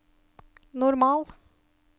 normal